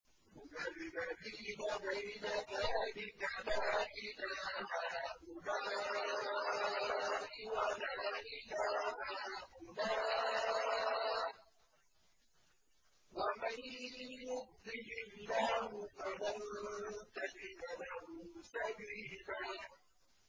مُّذَبْذَبِينَ بَيْنَ ذَٰلِكَ لَا إِلَىٰ هَٰؤُلَاءِ وَلَا إِلَىٰ هَٰؤُلَاءِ ۚ وَمَن يُضْلِلِ اللَّهُ فَلَن تَجِدَ لَهُ سَبِيلًا